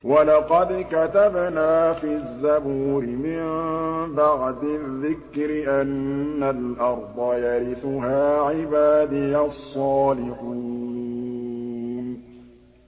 وَلَقَدْ كَتَبْنَا فِي الزَّبُورِ مِن بَعْدِ الذِّكْرِ أَنَّ الْأَرْضَ يَرِثُهَا عِبَادِيَ الصَّالِحُونَ